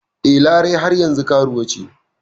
E, Larai har yanzu karuwa ce.